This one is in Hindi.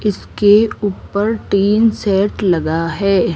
इसके उप्पर टीन सेट लगा है।